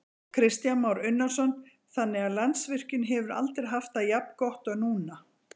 Kristján Már Unnarsson: Þannig að Landsvirkjun hefur aldrei haft það jafn gott og núna?